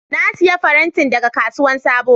Na siya farentin daga kasuwan sabo.